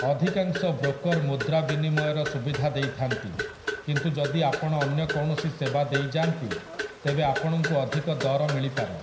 ଅଧିକାଂଶ ବ୍ରୋକର୍ ମୁଦ୍ରା ବିନିମୟର ସୁବିଧା ଦେଇଥାନ୍ତି, କିନ୍ତୁ ଯଦି ଆପଣ ଅନ୍ୟ କୌଣସି ସେବା ଦେଇ ଯାଆନ୍ତି ତେବେ ଆପଣଙ୍କୁ ଅଧିକ ଦର ମିଳିପାରେ ।